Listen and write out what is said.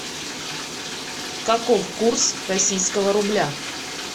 каков курс российского рубля